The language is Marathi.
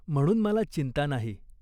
म्हणून मला चिंता नाही.